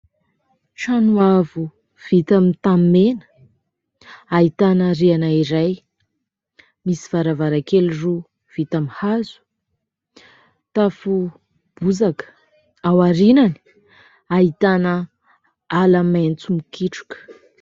Trano avo vita amin'ny tanimena ahitana rihana iray, misy varavarankely roa vita amin'ny hazo, tafo bozaka, ao aoriany ahitana ala maitso mikitroka.